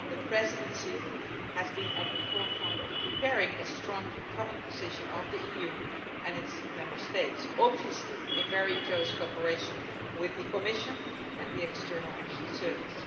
The Presidency has been at the forefront of preparing a strong common position of the EU and its Member States, obviously in very close cooperation with the Commission and the European External Action Service.